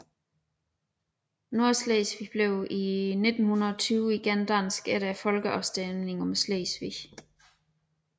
Nordslesvig blev i 1920 igen dansk efter folkeafstemningen om Slesvig